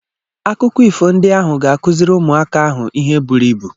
Akụkọ ifo ndị ahụ ga-akụziri ụmụaka ahụ ihe buru ibu.